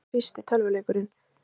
Hver var fyrsti tölvuleikurinn?